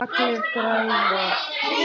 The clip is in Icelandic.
Allir græða.